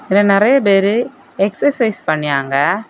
இதுல நறைய பேரு எக்சர்சைஸ் பண்ணியாங்க.